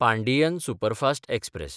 Pandian superfast express